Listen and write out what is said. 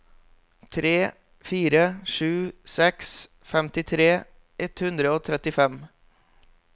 tre fire sju seks femtitre ett hundre og trettifem